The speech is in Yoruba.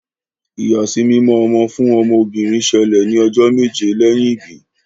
ìyàsímímọ ọmọ fún ọmọ obìrin ṣẹlẹ ní ojó méje lẹyìn ibí.